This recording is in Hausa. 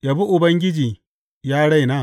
Yabi Ubangiji, ya raina.